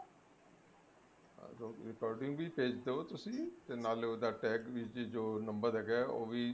ਆਹੋ recording ਵੀ ਭੇਜ ਦੋ ਤੁਸੀਂ ਤੇ ਨਾਲੇ ਉਹਦਾ tag ਵਿੱਚ ਵੀ ਜੋ number ਹੈਗਾ ਉਹ ਵੀ